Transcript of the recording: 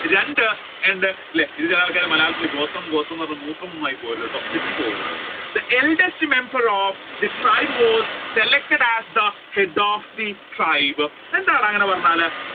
രണ്ട് ആൾകാർ മലയാളത്തിൽ ഗോത്രം ഗോത്രം എന്ന് പറഞ് മൂത്രം ഒന്നും ആയി പോകരുത് കേട്ടോ തെറ്റിപ്പോകരുത് The eldest member of tribe was selected as the head of the tribe എന്താണ് അങ്ങനെ പറഞ്ഞാൽ